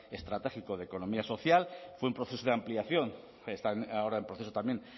estratégico de economía social fue un proceso de ampliación están ahora en proceso también